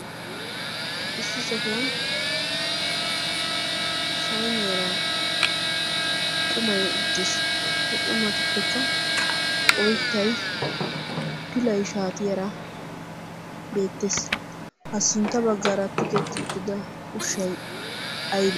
issi sohuwan sayniyaraa qumay uttiis. he qumatuppekka oittay pilay shaati yara beettees. ha sintta baggaara tigetti uttida ushshai aybee?